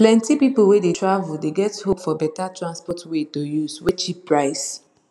plenti people wey dey travel dey get hope for better transport way to use wey cheap price